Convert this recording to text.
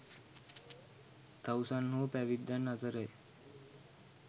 තවුසන් හෝ පැවිද්දන් අතර ය